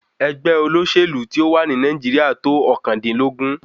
Ẹgbẹ́ olóṣèlú tí ó wà ní Nàìjíríà tó ọ̀kàndínlógún.